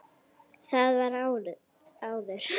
Það var áður.